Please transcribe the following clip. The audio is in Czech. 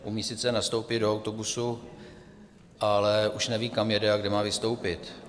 Umí sice nastoupit do autobusu, ale už neví, kam jede a kde má vystoupit.